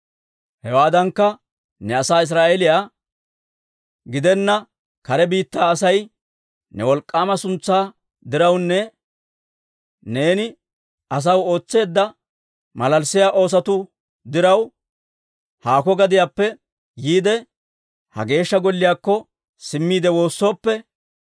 «Hewaadankka, ne asaa Israa'eeliyaa gidenna kare biittaa Asay ne wolk'k'aama suntsaa dirawunne neeni ne asaw ootseedda malalissiyaa oosotu diraw, haakko gadiyaappe yiide, ha Geeshsha Golliyaakko simmiide woossooppe,